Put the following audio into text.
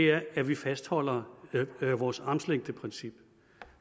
er at vi fastholder vores armslængdeprincip